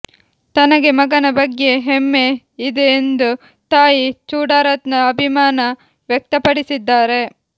ತನಗೆ ಮಗನ ಬಗ್ಯೆ ಹೆಮ್ಮೆ ಇದೆ ಎಂದು ತಾಯಿ ಚೂಡಾರತ್ನ ಅಭಿಮಾನ ವ್ಯಕ್ತಪಡಿಸಿದ್ದಾರೆ